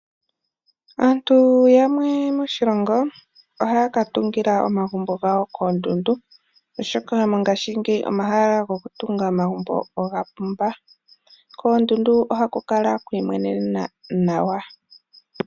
Aantu yamwe moshilongo ohaya ka tungila omagumbo gawo koondundu oshoka mongashingeyi omahala goku tunga omagumbo oga pumba . Koondundu ohaku kala kwiimwenenena nawa .